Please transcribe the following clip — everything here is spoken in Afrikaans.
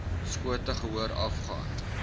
skote gehoor afgaan